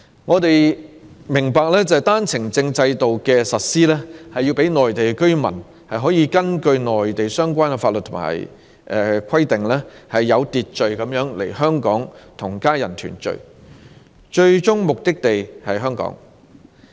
我們明白單程證制度的實施，是讓內地居民可根據內地相關法律和規定，有秩序地來港與家人團聚，其最終目的地是香港。